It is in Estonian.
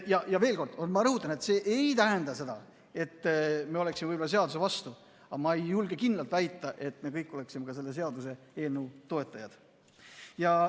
Veel kord rõhutan: see ei tähenda seda, et me oleksime selle seaduse vastu, aga ma ei julge ka kindlalt väita, et me kõik oleme selle seaduseelnõu toetajad.